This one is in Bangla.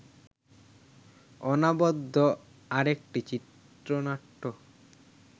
অনবদ্য আরেকটি চিত্রনাট্য